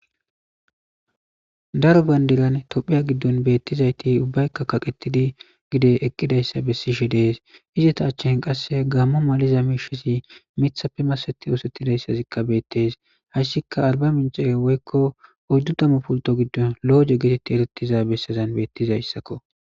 Daro pandira tophiya gidon betiza ubbayka kaqrtidi gexe eqidaysa besishe des izeta achan qase gamo maliza mishazi mithape maseti osetidaysazikka betes haysika arbamiche woyko oydu tamu pulto gidon loge geteti eretiza besazako